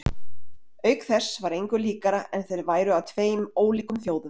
Auk þess var engu líkara en þeir væru af tveim ólíkum þjóðum.